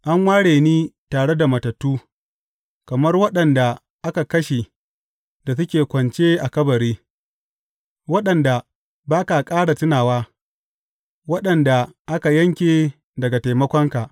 An ware ni tare da matattu, kamar waɗanda aka kashe da suke kwance a kabari, waɗanda ba ka ƙara tunawa, waɗanda aka yanke daga taimakonka.